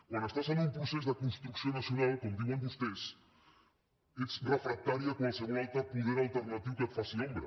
quan estàs en un procés de construcció nacional com diuen vostès ets refractari a qualsevol altre poder alternatiu que et faci ombra